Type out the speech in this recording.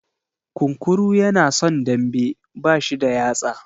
Kunkuru yana son dambe, bashi da yatsa.